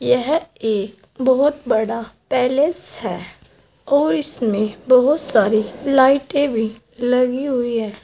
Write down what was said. यह एक बहुत बड़ा पैलेस है और इसमें बहुत सारी लाइटें भी लगी हुई है।